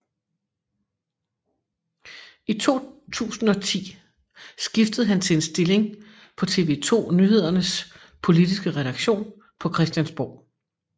I 2010 skiftede han til en stilling på TV 2 Nyhedernes politiske redaktion på Christiansborg